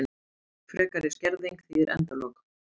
Frekari skerðing þýðir endalok